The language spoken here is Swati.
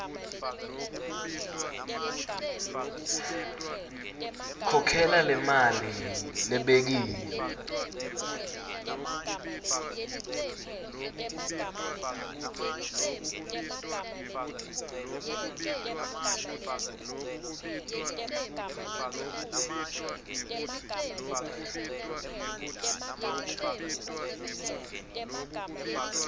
khokhela lemali lebekiwe